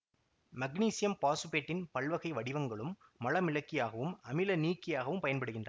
magnesium பாசுபேட்டின் பல்வகை வடிவங்களும் மலமிளக்கியாகவும் அமிலநீக்கியாகவும் பயன்படுகின்றன